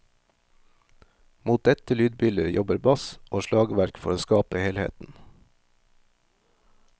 Mot dette lydbildet jobber bass og slagverk for å skape helheten.